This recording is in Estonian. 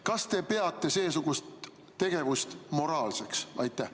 Kas te peate seesugust tegevust moraalseks?